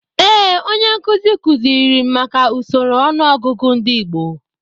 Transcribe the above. Ee, onye nkuzi kuziri m maka usoro ọnụọgụgụ ndị Igbo.